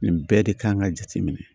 Nin bɛɛ de kan ka jate minɛ